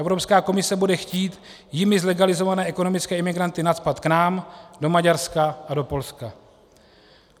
Evropská komise bude chtít jimi zlegalizované ekonomické imigranty nacpat k nám, do Maďarska a do Polska.